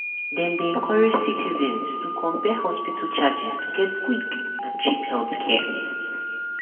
dem dey encourage citizens to compare hospital charges to get quick and cheap healthcare.